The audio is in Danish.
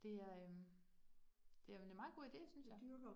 Det er øh, det er en meget god ide synes jeg